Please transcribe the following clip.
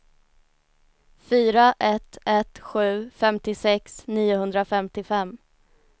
fyra ett ett sju femtiosex niohundrafemtiofem